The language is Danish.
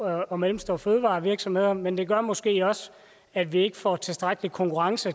og mellemstore fødevarevirksomheder men det gør måske også at vi ikke får tilstrækkelig konkurrence